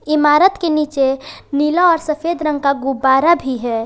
इमारत के नीचे नीला और सफेद रंग का गुब्बारा भी है।